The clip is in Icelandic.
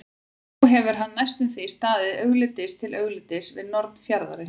Nú hefur hann næstum því staðið augliti til auglitis við norn fjarðarins.